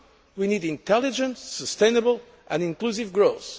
We need intelligent, sustainable and inclusive growth.